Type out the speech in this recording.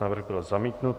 Návrh byl zamítnut.